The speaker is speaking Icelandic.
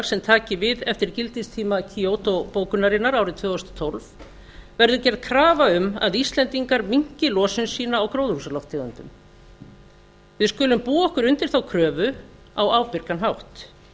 sem taki við eftir gildistíma kyoto bókunarinnar árið tvö þúsund og tólf verði gerð krafa um að íslendingar minnki losun sína á gróðurhúsalofttegundum við skulum búa okkur undir þá kröfu á ábyrgan hátt